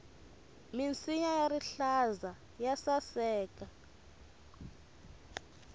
minsinya ya rihlaza ya saseka